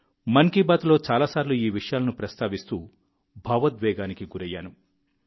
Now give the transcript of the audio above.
మన్ కీ బాత్లో చాలాసార్లు ఈ విషయాలను ప్రస్తావిస్తూ భావోద్వేగానికి గురయ్యాను